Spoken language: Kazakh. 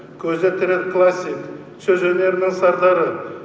көзі тірі классик сөз өнерінің сардары